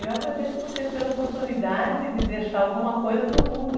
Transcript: Eu agradeço vocês pela oportunidade de deixar alguma coisa para o mundo.